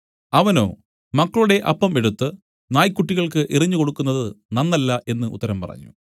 അവനോ മക്കളുടെ അപ്പം എടുത്തു നായ്ക്കുട്ടികൾക്ക് എറിഞ്ഞുകൊടുക്കുന്നത് നന്നല്ല എന്നു ഉത്തരം പറഞ്ഞു